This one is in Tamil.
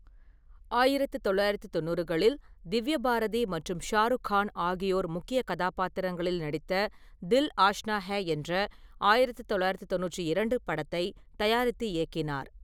ஆயிரத்து தொள்ளாயிரத்து தொண்ணூறுகளில், திவ்யா பாரதி மற்றும் ஷாருக்கான் ஆகியோர் முக்கிய கதாபாத்திரங்களில் நடித்த தில் ஆஷ்னா ஹே என்ற ஆயிரத்தி தொள்ளாயிரத்தி தொண்ணூற்றி இரண்டு படத்தை தயாரித்து இயக்கினார்.